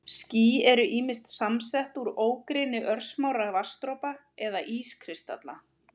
Ský eru ýmist samsett úr ógrynni örsmárra vatnsdropa eða ískristalla.